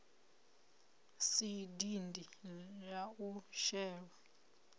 si dindi la u shelwa